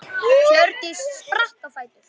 Hjördís spratt á fætur.